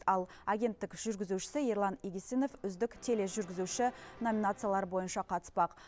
ал агенттік жүргізушісі ерлан игісінов үздік тележүргізуші номинациялары бойынша қатыспақ